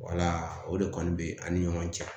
Wala o de kɔni be an ni ɲɔgɔn cɛ